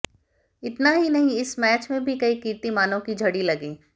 इतना ही नही इस मैच में भी कई कीर्तिमानों की झड़ी लगी